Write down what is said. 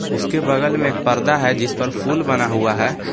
उसके बगल में एक पर्दा है जिसपर फूल बना हुआ है।